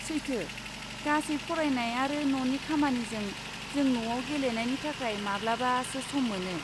सैथो, गासै फरायनाय आरो न'नि खामानिजों, जों न'आव गेलेनायनि थाखाय माब्लाबासो सम मोनो।